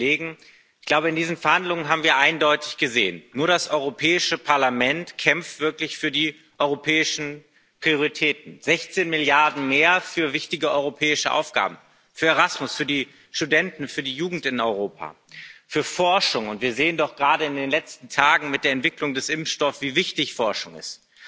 Herr Präsident, liebe Kolleginnen und Kollegen! Ich glaube, in diesen Verhandlungen haben wir eindeutig gesehen Nur das Europäische Parlament kämpft wirklich für die europäischen Prioritäten. 16 Milliarden mehr für wichtige europäische Aufgaben, für Erasmus, für die Studenten, für die Jugend in Europa, für Forschung und wir sehen doch gerade in den letzten Tagen mit der Entwicklung des Impfstoffs, wie wichtig Forschung ist